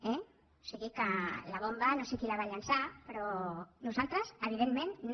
o sigui que la bomba no sé qui la va llançar però nosaltres evidentment no